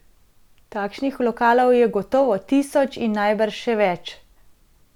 Takšnih lokalov je gotovo tisoč in najbrž še več.